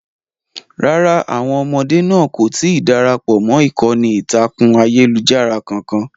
Rárá, àwọn ọmọdé náà kò tí ì darapọ̀ mọ́ ìkànnì ìtàkùn ayélujára kankan.